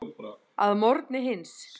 Að morgni hins